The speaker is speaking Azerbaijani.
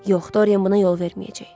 Yox, Dorian buna yol verməyəcək.